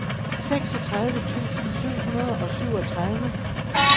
seksogtredive tusind syv hundrede og syvogtredive